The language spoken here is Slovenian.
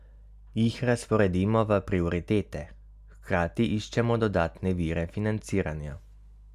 Jih razporedimo v prioritete, hkrati iščemo dodatne vire financiranja.